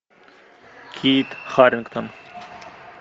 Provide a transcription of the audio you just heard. кит харрингтон